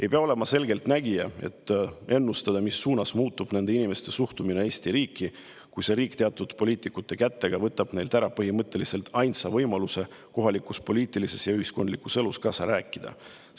Ei pea olema selgeltnägija, et ennustada, mis suunas muutub nende inimeste suhtumine Eesti riiki, kui see riik teatud poliitikute kätega võtab neilt ära põhimõtteliselt ainsa võimaluse kohalikus poliitilises ja ühiskondlikus elus kaasa rääkida.